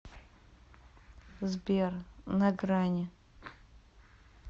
сбер на грани